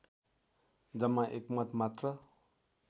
जम्मा एक मत मात्र